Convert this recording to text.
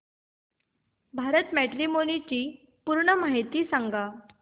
Bharat matrimony ची पूर्ण माहिती सांगा